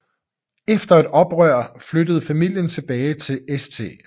Efter et oprør flyttede familien tilbage til St